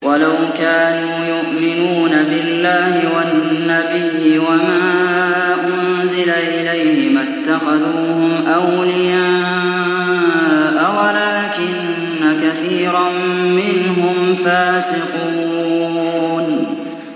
وَلَوْ كَانُوا يُؤْمِنُونَ بِاللَّهِ وَالنَّبِيِّ وَمَا أُنزِلَ إِلَيْهِ مَا اتَّخَذُوهُمْ أَوْلِيَاءَ وَلَٰكِنَّ كَثِيرًا مِّنْهُمْ فَاسِقُونَ